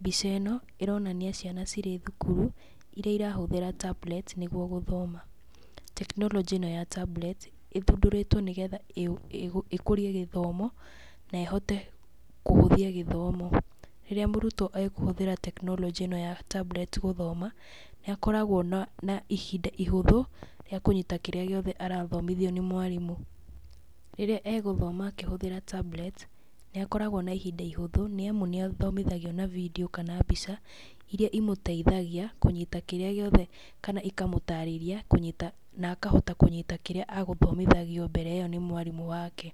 Mbica ĩno, ĩronania ciana cirĩ thukuru, iria irahũthĩra tablets nĩguo gũthoma. Tekinoronjĩ ĩno ya tablets ĩthundũrĩtwo nĩgetha ĩkũrie gĩthomo, na ĩhote kũhũthia gĩthomo. Rĩrĩa mũrutwo akũhũthĩra tekinoronjĩ ĩno ya tablets gũthoma, nĩ akoragwo na na ihinda ihũthũ rĩa kũnyita kĩrĩa gĩothe arathomithio nĩ mwarimũ. Rĩrĩa egũthoma akĩhũthĩra tablets, nĩ akoragwo na ihinda ihũthũ nĩ amu nĩ athomithagio na video kana mbica, iria imũteithagia kũnyita kĩrĩa gĩothe kana ikamũtarĩria kũnyita na akahota kũnyita kĩrĩa agũthomithagio mbere ĩyo nĩ mwarimũ wake.